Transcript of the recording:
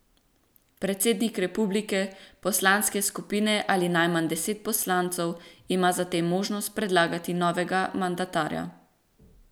Predsednik republike, poslanske skupine ali najmanj deset poslancev ima za tem možnost predlagati novega mandatarja.